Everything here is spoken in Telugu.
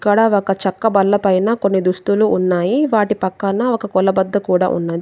ఇక్కడ ఒక చెక్క బల్ల పైన కొన్ని దుస్తులు ఉన్నాయి వాటి పక్కన ఒక కొల బద్ద కూడా ఉన్న --